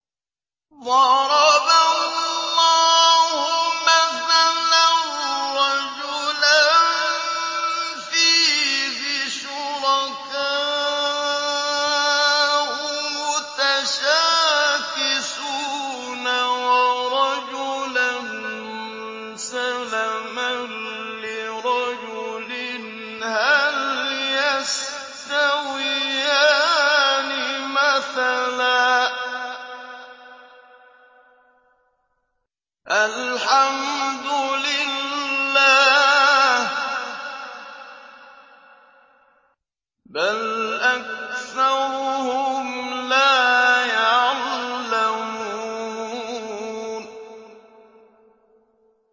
ضَرَبَ اللَّهُ مَثَلًا رَّجُلًا فِيهِ شُرَكَاءُ مُتَشَاكِسُونَ وَرَجُلًا سَلَمًا لِّرَجُلٍ هَلْ يَسْتَوِيَانِ مَثَلًا ۚ الْحَمْدُ لِلَّهِ ۚ بَلْ أَكْثَرُهُمْ لَا يَعْلَمُونَ